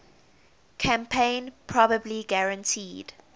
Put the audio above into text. campaign probably guaranteed